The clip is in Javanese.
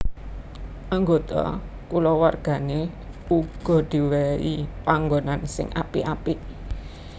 Anggota kulawargané uga diwèhi panggonan sing apik apik